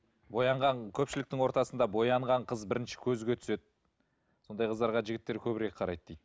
боянған көпшіліктің ортасында боянған қыз бірінші көзге түседі сондай қыздарға жігіттер көбірек қарайды дейді